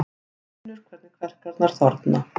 Hann finnur hvernig kverkarnar þorna.